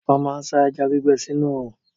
Wọ́n máa ń sá ẹja gbígbẹ sínú òòrùn.